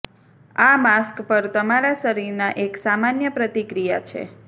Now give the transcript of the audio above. આ માસ્ક પર તમારા શરીરના એક સામાન્ય પ્રતિક્રિયા છે